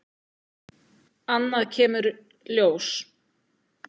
Annað kemur ljós